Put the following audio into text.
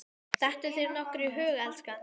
Dettur þér nokkuð í hug, elskan?